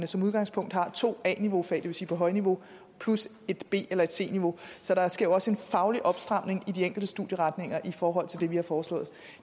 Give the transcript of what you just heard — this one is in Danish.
som udgangspunkt har to a niveaufag det vil sige på højniveau plus et b eller et c niveau så der sker jo også en faglig opstramning i de enkelte studieretninger i forhold til det vi har foreslået